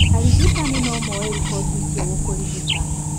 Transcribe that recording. Arigitani nomoe riboti icio gũkũrigita